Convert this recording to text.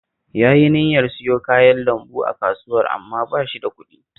Yayi niyyar siyo kayan lambu a Kasuwar amma ba shi da kuɗi